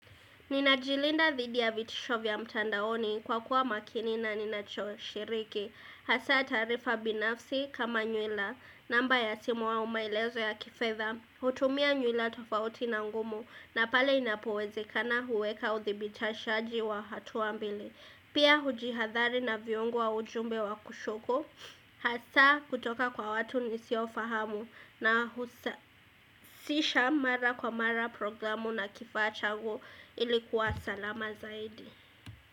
Ninajilinda dhidi ya vitisho vya mtandaoni kwa kuwa makini na ninacho shiriki. Hasa taarifa binafsi kama nywila. Namba ya simu au maelezo ya kifedha. Hutumia nywila tofauti na ngumu na pale inapowezekana huweka uthibitashaji wa hatua mbili. Pia hujihadhari na viungo wa ujumbe wa kushuku. Hasa kutoka kwa watu nisio fahamu na husa. Sisha mara kwa mara programu na kifaa changu ilikuwa salama zaidi.